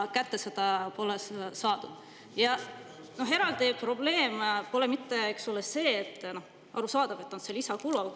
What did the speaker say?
Aga probleem polegi selles – noh, arusaadav, et on lisakulu.